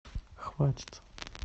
хватит